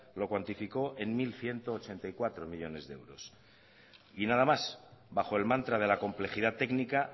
lo cuantificó en mil ciento ochenta y cuatro millónes de euros y nada más bajo el mantra de la complejidad técnica